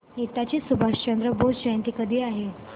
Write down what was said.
नेताजी सुभाषचंद्र बोस जयंती कधी आहे